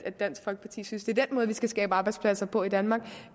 at dansk folkeparti synes at det er den måde vi skal skabe arbejdspladser på i danmark